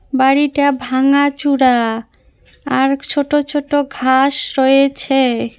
বাড়িটা ভাঙাচূরা আর ছোট ছোট ঘাস রয়েছে।